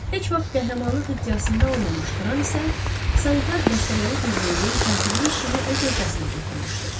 Heç vaxt qəhrəmanlıq iddiasında olmamış Qran isə sanitar dəstələri birliyinin katiblik işini öz öhdəsinə götürmüşdü.